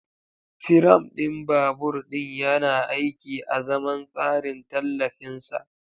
Firam ɗin babur ɗin yana aiki azaman tsarin tallafin sa.